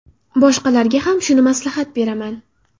Boshqalarga ham shuni maslahat beraman.